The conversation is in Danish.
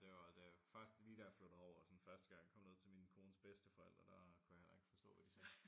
Det var da først lige da jeg flyttede herover og sådan første gang kom ned til min kones bedsteforældre der kunne jeg heller ikke forstå hvad de sagde